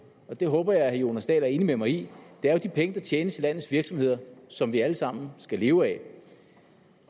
og det håber jeg at herre jonas dahl er enig med mig i de penge der tjenes i landets virksomheder som vi alle sammen skal leve af